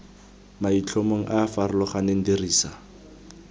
maitlhomong a a farologaneng dirisa